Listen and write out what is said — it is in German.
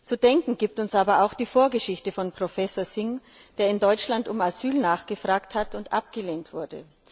Zu denken gibt uns aber auch die Vorgeschichte von Professor Singh, der in Deutschland um Asyl nachgefragt hat und abgelehnt wurde.